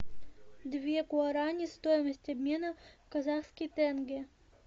две гуарани стоимость обмена в казахский тенге